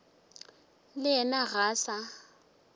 le yena ga a sa